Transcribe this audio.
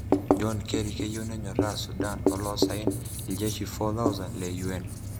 John Kerry keyeu nenyoraa Sudan Olosaen Iljeshi 4000 le UN.